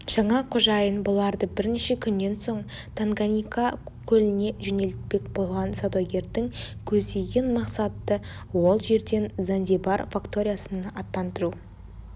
жаңа қожайын бұларды бірнеше күннен соң танганьика көліне жөнелтпек болған саудагердің көздеген мақсаты ол жерден занзибар факториясына аттандыру